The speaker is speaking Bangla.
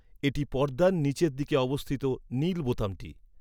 এটি পর্দার নীচের দিকে অবস্থিত নীল বোতামটি।